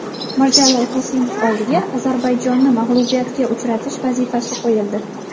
Mirjalol Qosimov oldiga Ozarbayjonni mag‘lubiyatga uchratish vazifasi qo‘yildi.